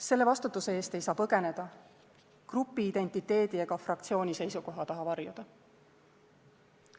Selle vastutuse eest ei saa põgeneda, grupiidentiteedi ega fraktsiooni seisukoha taha varjuda.